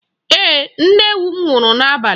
Ee, nne ewu m nwụrụ n'abalị.